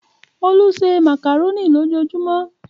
Olú se màkàrónì lójujúmọ́